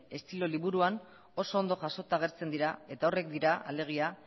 estilo liburuan oso ondo jasota agertzen dira eta horiek dira alegia